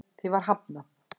Því var hafnað